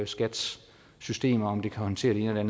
skats systemer kan håndtere det ene og